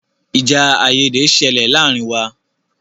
Ìjà àìyédè ṣẹlẹ̀ láàárín wa.